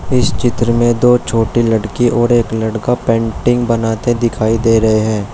इस चित्र में दो छोटी लड़की और एक लड़का पेंटिंग बनाते दिखाई दे रहे हैं।